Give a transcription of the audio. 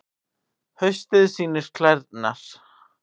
Haustið sýnir klærnar